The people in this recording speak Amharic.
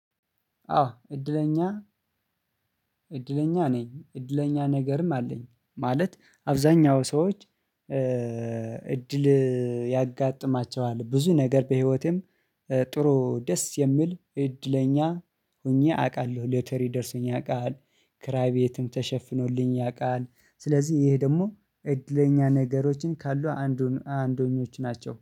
አዎ እድለኛ እድለኛ ነኝ። እድለኛ ነገርም አለኝ ማለት አብዛኛው ሰዎች እድል ያጋጥማቸዋል ብዙ ነገር በህይወቴም ጥሩ ደስ የሚል እድለኛ ሆኜ አውቃለሁ። ሎተሪ ደርሶኝ ያውቃል ክራይ ቤትም ተሸፍኖልኝ ያውቃል። ስለዚህ ይህ ደግሞ እድለኛ ነገሮችን ካሉ አንዱ አንደኞች ናቸው